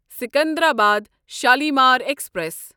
Secunderabad Shalimar express